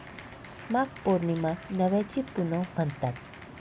माघ पौर्णिमा 'नव्याची पुनव' म्हणतात.